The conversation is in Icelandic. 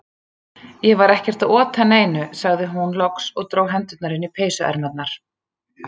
Ég var ekkert að ota neinu, sagði hún loks og dró hendurnar inn í peysuermarnar.